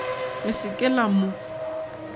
le se ke la mo